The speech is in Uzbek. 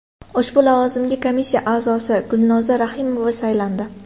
Ushbu lavozimga komissiya a’zosi Gulnoza Rahimova saylandi.